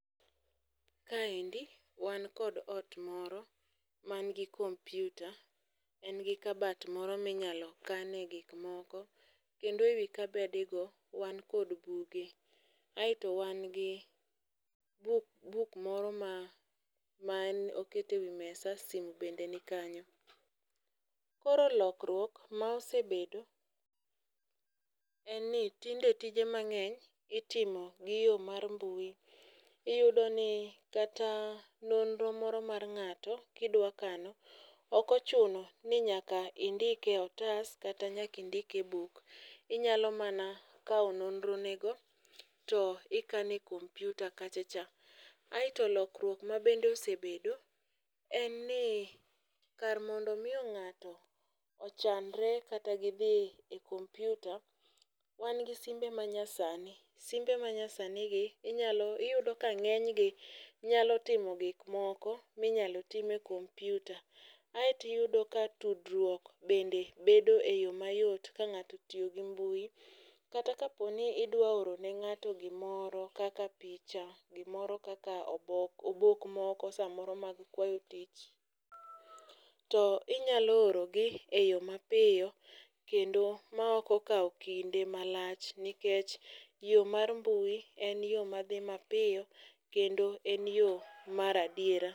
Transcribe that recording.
Kaendi, wan kod ot moro man gi computer, en gi kabat moro minyalo kane gik moko, kendo ewi kabedego wan kod buge. Aeto wangii buk buk moro ma ma en okete wi mesa sim bende nikanyo. Koro lokruok ma osebedo, en ni tinde tije mang'eny itimo gi yo mar mbui. Iyudo ni kata nonro moro mar ng'ato kidwa kano, okochuno ni nyaka indike e otas kata nyaka indiki e buk. Inyalo mana kawo nonro nego to ikano e computer kachacha. Aeto lokruok ma bende osebedo, en ni kar mondo miyo ng'ato ochandre kata gidhi e computer, wan gi simbe manyasani. Simbe manyasanigi inyalo iyudo ka ng'enygi nyalo timo gik moko minyalo time computer. Aeto iyudo ka tudruok bende bedo e yo mayot ka ng'ato otiyo gi mbui kata kapo ni idwaro oro ne ng'ato gimoro, kaka picha, gimoro kaka obok, obok moko samoro mag kwayo tich, to inyalo orogi e yo mapiyo kendo ma ok okao kinde malach. Nikech yo mar mbui en yo madhi mapiyo kendo en yo mar adiera.